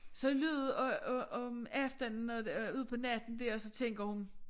Så alligevel om aftenen øh ud på natten der så tænker hun